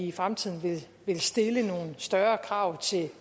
i fremtiden ville stille nogle større krav